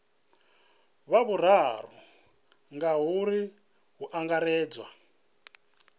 wa vhuraru ngauri hu angaredzwa